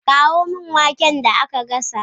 Kawo min waken da aka gasa